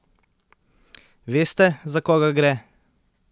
Veste, za koga gre?